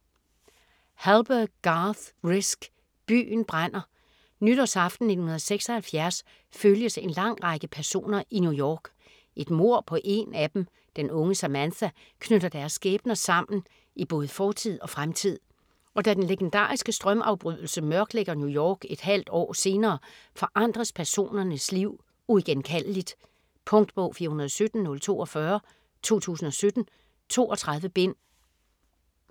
Hallberg, Garth Risk: Byen brænder Nytårsaften 1976 følges en lang række personer i New York. Et mord på en af dem, den unge Samantha, knytter deres skæbner sammen i både fortid og fremtid. Og da den legendariske strømafbrydelse mørklægger New York et halvt år senere, forandres personernes liv uigenkaldeligt. Punktbog 417042 2017. 32 bind.